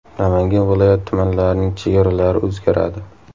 Namangan viloyati tumanlarining chegaralari o‘zgaradi .